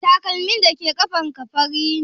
Takalmin dake ƙafan ka fari ne?